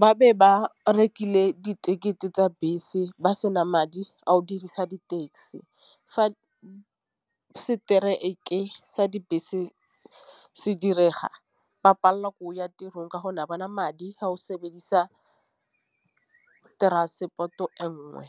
ba be ba rekile ditekete tsa bese ba sena madi a o dirisa di-taxi. Fa strike sa dibese se direga ba pallwa ke go ya tirong ka gonne ha ba na madi a go sebedisa transport-o e nngwe.